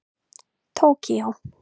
Tókíó